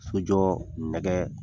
Sojɔ nɛkɛ